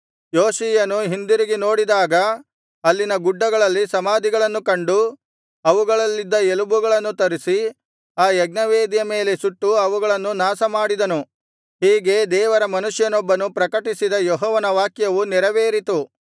ಯೋಷೀಯನು ಹಿಂದಿರುಗಿ ನೋಡಿದಾಗ ಅಲ್ಲಿನ ಗುಡ್ಡಗಳಲ್ಲಿ ಸಮಾಧಿಗಳನ್ನು ಕಂಡು ಅವುಗಳಲ್ಲಿದ್ದ ಎಲುಬುಗಳನ್ನು ತರಿಸಿ ಆ ಯಜ್ಞವೇದಿಯ ಮೇಲೆ ಸುಟ್ಟು ಅವುಗಳನ್ನು ನಾಶಮಾಡಿದನು ಹೀಗೆ ದೇವರ ಮನುಷ್ಯನೊಬ್ಬನು ಪ್ರಕಟಿಸಿದ ಯೆಹೋವನ ವಾಕ್ಯವು ನೆರವೇರಿತು